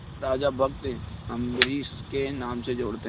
राजा भक्त अम्बरीश के नाम से जोड़ते हैं